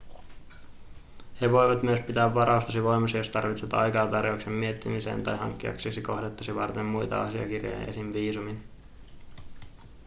he voivat myös pitää varaustasi voimassa jos tarvitset aikaa tarjouksen miettimiseen tai hankkiaksesi kohdettasi varten muita asiakirjoja esim. viisumin